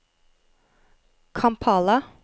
Kampala